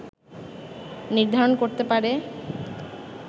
নির্ধারণ করতে পারে